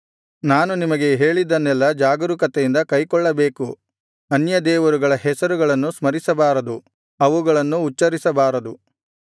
ನಾನು ನಿಮಗೆ ಹೇಳಿದ್ದನ್ನೆಲ್ಲಾ ಜಾಗರೂಕತೆಯಿಂದ ಕೈಕೊಳ್ಳಬೇಕು ಅನ್ಯ ದೇವರುಗಳ ಹೆಸರುಗಳನ್ನು ಸ್ಮರಿಸಬಾರದು ಅವುಗಳನ್ನು ಉಚ್ಚರಿಸಬಾರದು